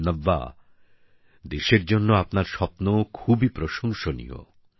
নব্যা দেশের জন্য আপনার স্বপ্ন খুবই প্রশংসনীয়